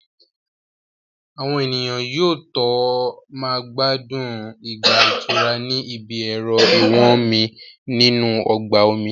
Àwọn ènìyàn yóò tó máa gbádùn ìgbà ìtura ní ibi ẹ̀rọ ìwọ́nmi nínú ọgbà omi